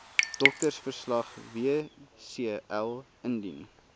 doktersverslag wcl indien